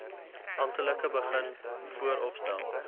amptelik begin vooropstel